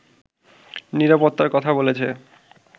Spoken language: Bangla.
নিরাপত্তার কথা বলেছে